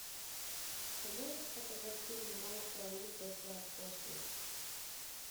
ты можешь показать фильм майка николса после